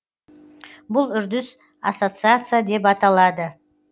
бұл үрдіс ассоциация деп аталады